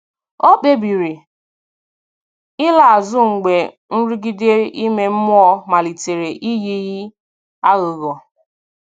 Ọ̀ kpebìrì ị̀la azụ mgbe nrụgide ime mmụọ malitere iyi ka aghụghọ.